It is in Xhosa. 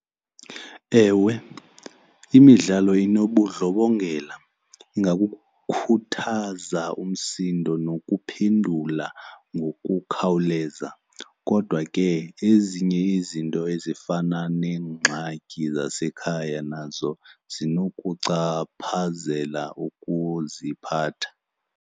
Ewe, imidlalo inobundlobongela ingakukhuthaza umsindo nokuphendula ngokukhawuleza. Kodwa ke ngoba ezinye izinto ezifana neengxaki zasekhaya nazo zinokuchaphazela ukuziphatha.